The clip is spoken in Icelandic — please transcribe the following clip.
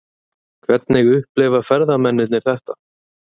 Hvernig upplifa ferðamennirnir þetta?